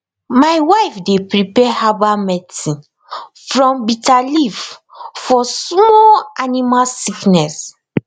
my wife dey prepare herbal medicine from bitter leaf for small animal sickness